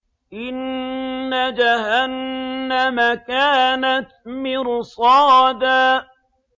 إِنَّ جَهَنَّمَ كَانَتْ مِرْصَادًا